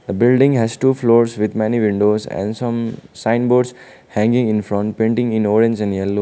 building has two floors with many windows and some sign boards hanging in front painting in orange and yellow.